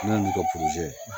Ne y'olu kɛ ye